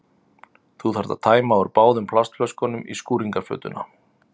Þú þarft að tæma úr báðum plastflöskunum í skúringafötuna.